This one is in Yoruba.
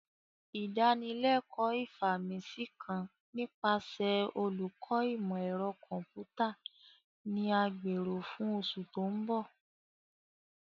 Idanileko Ifaminsi kan nipasẹ Oluko Imọ-ẹrọ Kọmputa ni a gbero fun oṣu to nbo.